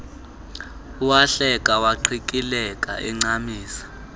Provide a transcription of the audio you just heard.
wahleka waqikileka encamisa